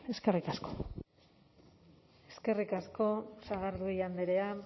eskerrik asko eskerrik asko sagardui andrea